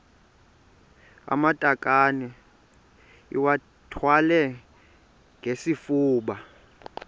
amatakane iwathwale ngesifuba